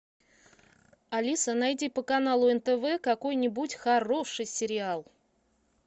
алиса найди по каналу нтв какой нибудь хороший сериал